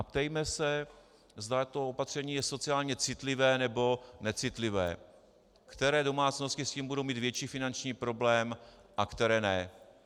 A ptejme se, zda to opatření je sociálně citlivé, nebo necitlivé, které domácnosti s tím budou mít větší finanční problém a které ne.